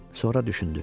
Sonra düşündü.